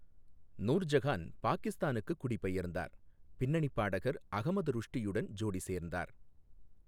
நூர் ஜஹான் பாகிஸ்தானுக்குக் குடிபெயர்ந்தார், பின்னணிப் பாடகர் அகமது ருஷ்டியுடன் ஜோடி சேர்ந்தார்.